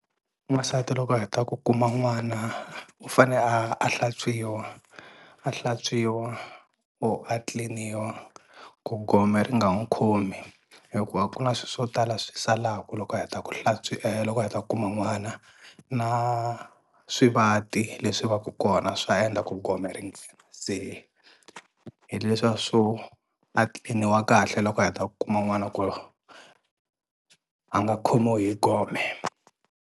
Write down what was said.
N'wansati loko a heta ku kuma n'wana u fane a a hlantswiwa a hlantswiwa or a clean-iwa ku gome ri nga n'wu khomi hikuva ku na swi swo tala swi salaku loko a heta ku hlantswi loko u heta ku kuma n'wana, na swivati leswi va ku kona swa endla ku gome se hi leswiya swo a clean-iwa kahle loko a heta kuma n'wana ku a nga khomiwi hi gome.